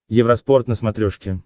евроспорт на смотрешке